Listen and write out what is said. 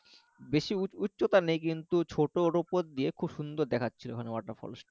বেশি উচ্চতা নেই কিন্তু খুব ছোট ওর উপর দিয়ে খুব সুন্দর দেখাচ্ছিল ওখানে waterfall টা